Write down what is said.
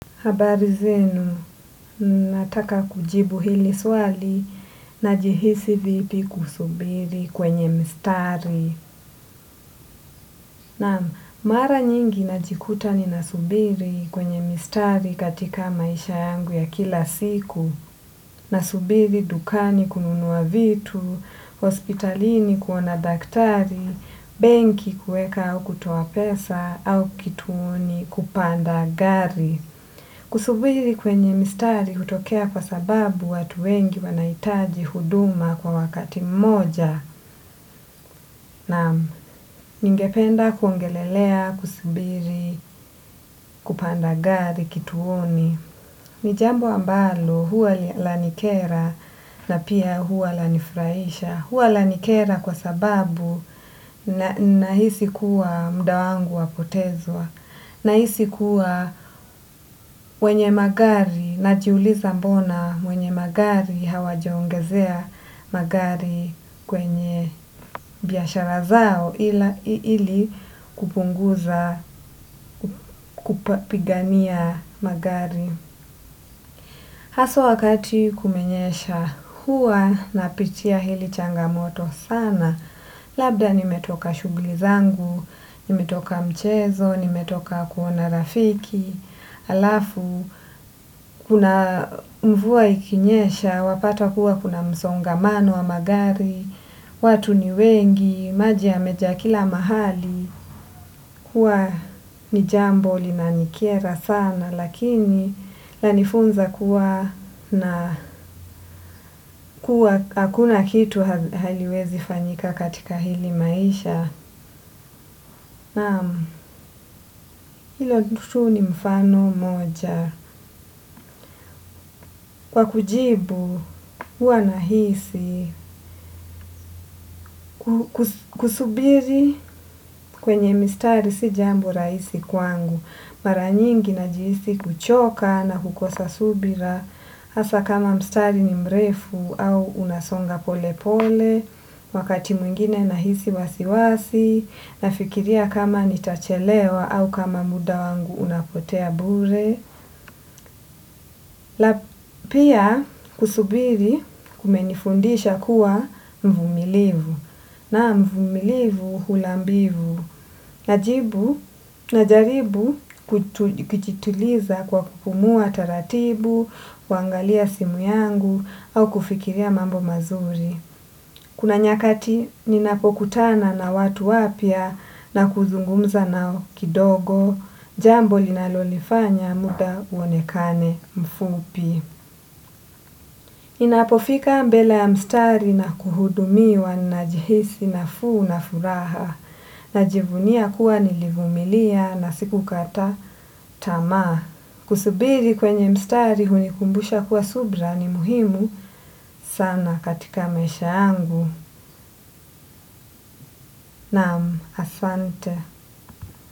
Habari zenu nataka kujibu hili swali najihisi vipi kusubiri kwenye mstari naam mara nyingi najikuta ninasubiri kwenye mstari katika maisha yangu ya kila siku. Nasubiri dukani kununuwa vitu, hospitalini kuona daktari, benki kueka au kutoa pesa au kituoni kupanda gari. Kusubiri kwenye mistari utokea kwa sababu watu wengi wanaitaji huduma kwa wakati moja na ningependa kuongelelea, kusubiri, kupanda gari, kituoni. Nijambo ambalo huwa lanikera na pia huwa lanifraisha. Huwa lanikera kwa sababu na hisi kuwa mda wangu wapotezwa. Na hisi kuwa wenye magari na juuliza mbona wenye magari hawa jaongezea magari kwenye biashara zao ili kupunguza kupigania magari. Haswa wakati kumenyesha huwa na pitia hili changamoto sana, labda nimetoka shugli zangu, nimetoka mchezo, nimetoka kuona rafiki, alafu kuna mvua ikinyesha, wapata kuwa kuna msongamano wa magari, watu ni wengi, maji ya meja kila mahali, hua ni jambo li nanikiera sana lakini la nifunza kuwa na kuwa hakuna kitu haliwezi fanyika katika hili maisha. Ilo tu ni mfano moja. Kwa kujibu, hua nahisi, kusubiri kwenye mstari si jambo raisi kwangu. Maranyingi na jihisi kuchoka na hukosa subira, hasa kama mstari ni mrefu au unasonga pole pole, wakati mwingine nahisi wasiwasi, nafikiria kama nitachelewa au kama muda wangu unapotea bure. La pia kusubiri kumenifundisha kuwa mvumilivu na mvumilivu hulambivu na jibu na jaribu kujituliza kwa kupumua taratibu, kuangalia simu yangu au kufikiria mambo mazuri. Kuna nyakati ninapokutana na watu wapia na kuzungumza na kidogo, jambo linalolifanya muda uonekane mfupi. Inapofika mbele ya mstari na kuhudumiwa na jihisi na fuu na furaha. Najivunia kuwa nilivumilia na siku kata tama. Kusubiri kwenye mstari hunikumbusha kuwa subra ni muhimu sana katika maisha yangu. Nam. Asante.